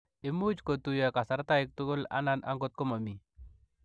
Imuuch kotuyoo karastaiik tugul anan angot komamii.